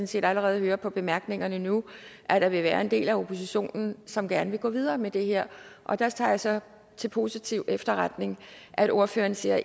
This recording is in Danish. set allerede høre på bemærkningerne nu at der vil være en del af oppositionen som gerne vil gå videre med det her og der tager jeg så til positiv efterretning at ordføreren siger